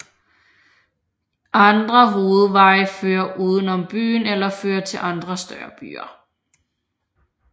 Andre hovedveje fører uden om byen eller fører til andre større byer